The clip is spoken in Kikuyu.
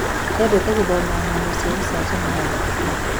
Endete gũthoma ngano cia gũcanjamũra ũtukũ.